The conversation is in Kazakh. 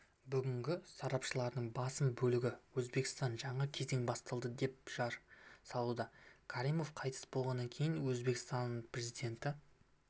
бүгінгі сарапшылардың басым бөлігі өзбекстанда жаңа кезең басталады деп жар салуда каримов қайтыс болғаннан кейін өзбекстанпрезиденті